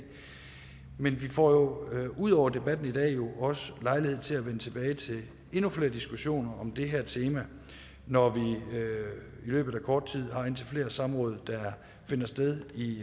men vi får ud over debatten i dag også lejlighed til at vende tilbage til endnu flere diskussioner om det her tema når vi i løbet af kort tid har indtil flere samråd der finder sted i